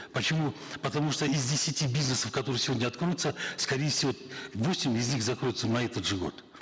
почему потому что из десяти бизнесов которые сегодня откроются скорее всего восемь из них закроются на этот же год